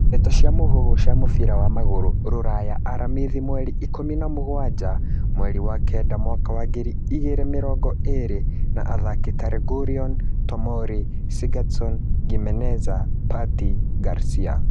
Ndeto cia mũhuhu cia mũbira wa magũrũ Rũraya aramithi mweri ikũmi na mũgwanja mweri wa kenda mwaka wa ngiri igĩrĩ mĩrongo ĩrĩ na athaki ta Reguilon, Tomori, Sigurdsson, Gimeneza, Partey, Garcia